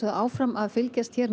áfram að fylgjast með